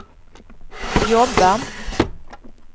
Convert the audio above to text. jobba